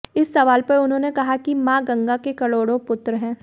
इस सवाल पर उन्होंने कहा कि मां गंगा के करोड़ों पुत्र हैं